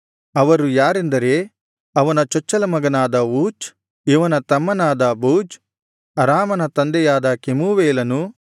ಅವರು ಯಾರೆಂದರೆ ಅವನ ಚೊಚ್ಚಲಮಗನಾದ ಊಚ್ ಇವನ ತಮ್ಮನಾದ ಬೂಜ್ ಅರಾಮನ ತಂದೆಯಾದ ಕೆಮೂವೇಲನು